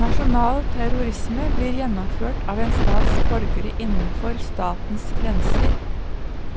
Nasjonal terrorisme blir gjennomført av en stats borgere innenfor statens grenser